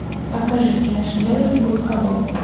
покажи киношедевр губка боб